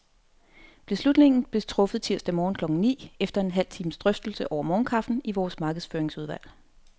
Beslutningen blev truffet tirsdag morgen klokken ni, efter en halv times drøftelse over morgenkaffen i vores markedsføringsudvalg.